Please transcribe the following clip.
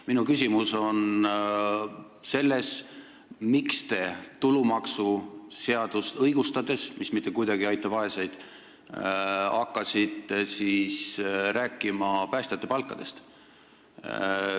Minu küsimus on selles, miks te, õigustades tulumaksuseaduse muutmist, mis mitte kuidagi ei aita vaeseid, hakkasite rääkima päästjate palkadest.